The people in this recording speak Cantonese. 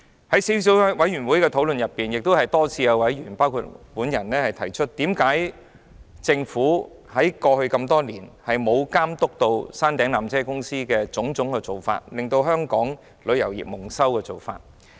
在小組委員會會議上，多次有包括我在內的委員提出，何以政府過去多年來沒有監督纜車公司的種種做法，令香港旅遊業蒙羞。